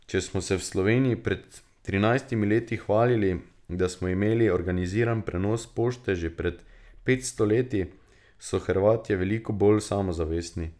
Če smo se v Sloveniji pred trinajstimi leti hvalili, da smo imeli organiziran prenos pošte že pred petsto leti, so Hrvatje veliko bolj samozavestni.